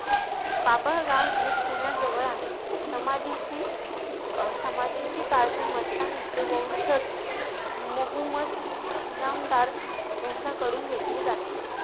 बाभळगाव हे पुण्याजवळ आहे. समाधीची अं समाधीची काळजी, मस्तानीचे वशंज मोहुमद इनामदार यांच्याकडून घेतली जाते.